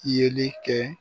Yeli kɛ.